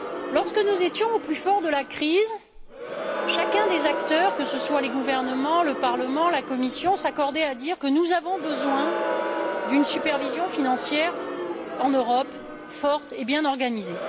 Lorsque nous étions au plus fort de la crise, chacun des acteurs, que ce soient les gouvernements, le Parlement ou la Commission, s'accordait à dire que nous avions besoin d'une supervision financière en Europe, forte et bien organisée.